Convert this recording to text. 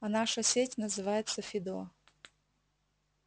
а наша сеть называется фидо